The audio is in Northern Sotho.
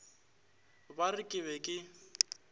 ba re ke be ke